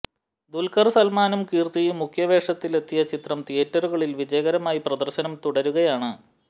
ദുല്ഖര് സല്മാനും കീര്ത്തിയും മുഖ്യ വേഷങ്ങളിലെത്തിയ ചിത്രം തിയ്യേറ്ററുകളില് വിജയകരമായി പ്രദര്ശനം തുടരുകയാണ്